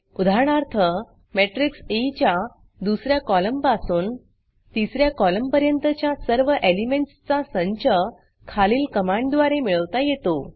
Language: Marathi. उदाहरणार्थ मॅट्रिक्स ई च्या दुस या कॉलमपासून तिस या कॉलमपर्यंतच्या सर्व एलिमेंटसचा संच खालील कमांडद्वारे मिळवता येतो